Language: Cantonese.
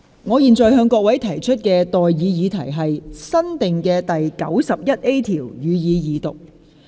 我現在向各位提出的待議議題是：新訂的第 91A 條，予以二讀。